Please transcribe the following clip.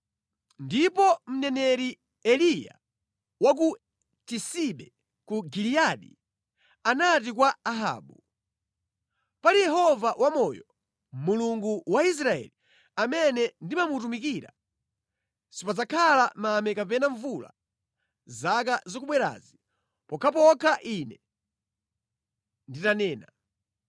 Ndipo mneneri Eliya wa ku Tisibe ku Giliyadi, anati kwa Ahabu, “Pali Yehova wamoyo, Mulungu wa Israeli, amene ndimamutumikira, sipadzakhala mame kapena mvula zaka zikubwerazi, pokhapokha ine nditanena.”